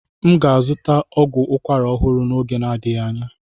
M ga-azụta ọgwụ ukwara ọhụrụ n'oge na-adịghị anya.